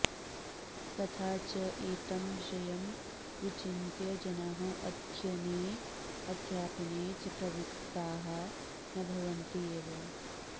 तथा च एतं विषयं विचिन्त्य जनाः अध्ययने अध्यापने च प्रवृत्ताः न भवन्ति एव